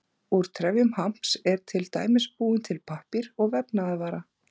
Úr trefjum hamps er til dæmis búinn til pappír og vefnaðarvara.